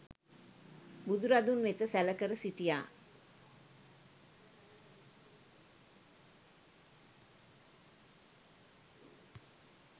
බුදුරදුන් වෙත සැලකර සිටියා.